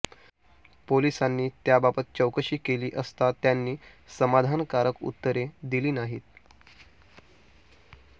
पोलिसांनी त्याबाबत चौकशी केली असता त्यांनी समाधानकारक उत्तरे दिली नाहीत